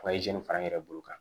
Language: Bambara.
fara n yɛrɛ bolo kan